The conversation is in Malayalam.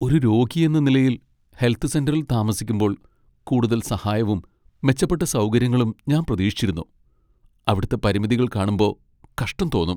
ഒരു രോഗിയെന്ന നിലയിൽ, ഹെൽത്ത് സെന്ററിൽ താമസിക്കുമ്പോൾ കൂടുതൽ സഹായവും, മെച്ചപ്പെട്ട സൗകര്യങ്ങളും ഞാൻ പ്രതീക്ഷിച്ചിരുന്നു, അവിടത്തെ പരിമിതികൾ കാണുമ്പോ കഷ്ടം തോന്നും.